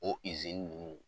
O nunnu